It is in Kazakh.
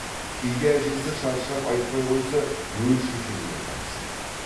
кейде әжесі шаршап айтпай қойса өз шешесіне жабысатын